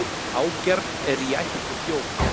Ágjarn er í ætt við þjóf.